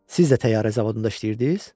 Siz də təyyarə zavodunda işləyirdiz?